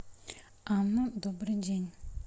анна добрый день